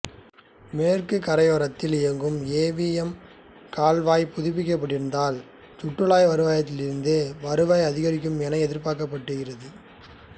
மேற்கு கரையோரத்தில் இயங்கும் ஏ வி எம் கால்வாய் புதுப்பிக்கப்பட்டிருந்தால் சுற்றுலா வருவாயிலிருந்து வருவாய் அதிகரிக்கும் என எதிர்பார்க்கப்படுகிறது